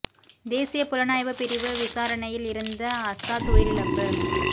தேசிய புலனாய்வு பிரிவு விசாரணையில் இருந்த அசாத் உயிரிழப்பு